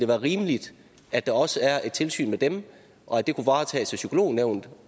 være rimeligt at der også er et tilsyn med dem og at det kunne varetages af psykolognævnet